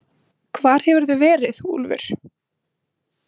Hvar hefurðu verið, Úlfur?